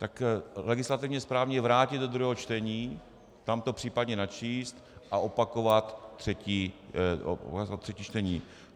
Tak legislativně správně je vrátit do druhého čtení, tam to případně načíst a opakovat třetí čtení.